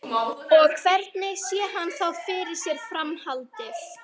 Og hvernig sé hann þá fyrir sér framhaldið?